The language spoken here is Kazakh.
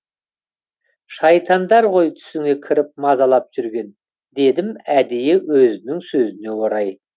шайтандар ғой түсіңе кіріп мазалап жүрген дедім әдейі өзінің сөзіне орай